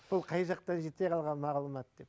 бұл қай жақтан жете қалған мағлұмат деп